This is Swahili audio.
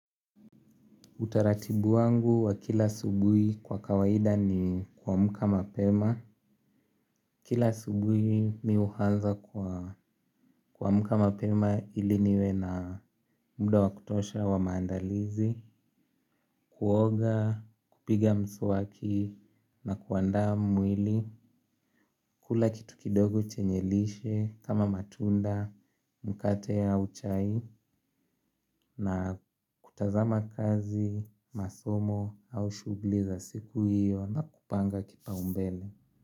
Utaratibu wangu wa kila asubuhi kwa kawaida ni kuamka mapema. Kila asubuhi mimi huanza kuamka mapema ili niwe na muda wa kutosha wa maandalizi. Kuoga, kupiga mswaki na kuandaa mwili kula kitu kidogo chenye lishe kama matunda, mkate au chai na kutazama kazi, masomo au shughuli za siku hiyo na kupanga kipaumbele.